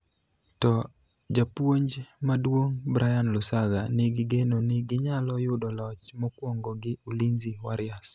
to japuonj maduong' Brian Lusaga nigi geno ni ginyalo yudo loch mokwongo gi Ulinzi Warriors.